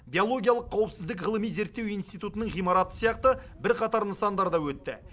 биологиялық қауіпсіздік ғылыми зертеу институтының ғимараты сияқты бірқатар нысандар да өтті